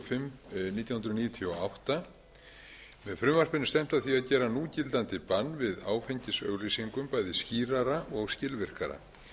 fimm nítján hundruð níutíu og átta með frumvarpinu er stefnt að því að gera núgildandi bann við áfengisauglýsingum bæði skýrara og skilvirkara